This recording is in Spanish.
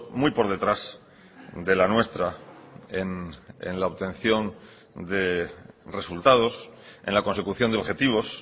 muy por detrás de la nuestra en la obtención de resultados en la consecución de objetivos